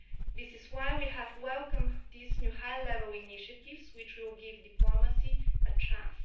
This is why we have welcomed these new high level initiatives which will give diplomacy a chance.